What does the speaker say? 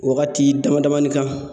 Wagati dama damani kan.